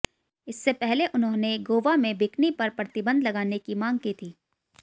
इससे पहले उन्होंने गोवा में बिकनी पर प्रतिबंध लगाने की मांग की थी